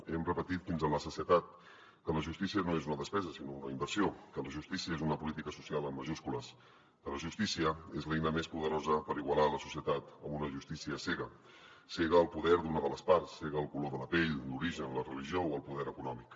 hem repetit fins a la sacietat que la justícia no és una despesa sinó una inversió que la justícia és una política social amb majúscules que la justícia és l’eina més poderosa per igualar la societat amb una justícia cega cega al poder d’una de les parts cega al color de la pell l’origen la religió o el poder econòmic